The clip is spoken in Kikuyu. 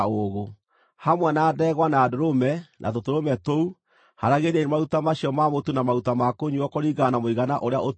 Hamwe na ndegwa, na ndũrũme, na tũtũrũme tũu, haaragĩriai maruta macio ma mũtu na maruta ma kũnyuuo kũringana na mũigana ũrĩa ũtuĩtwo.